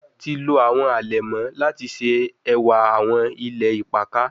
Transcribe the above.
Ti lo awọn alẹmọ lati ṣe ẹwa awọn ilẹ ipakà